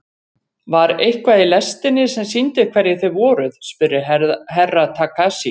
Var eitthvað í lestinni sem sýndi hverjir þið voruð spurði Herra Takashi.